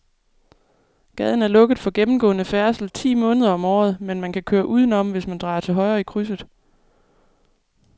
Gaden er lukket for gennemgående færdsel ti måneder om året, men man kan køre udenom, hvis man drejer til højre i krydset.